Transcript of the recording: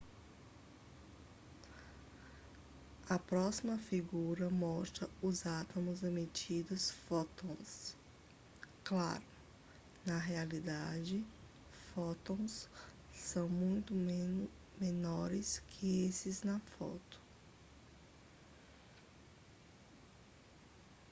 a próxima figura mostra os átomos emitindo fótons claro na realidade fótons são muito menores que esses na foto